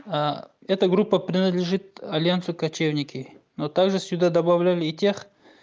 а это группа принадлежит альянсу кочевники но также сюда добавляли и тех